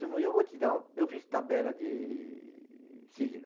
eu vou te dar ó, eu fiz tabela de signo.